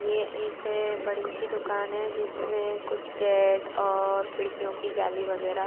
ये एक बड़ी सी दुकान है जिसमें कुछ गेट और खिड़कियों की जाली वगैरा--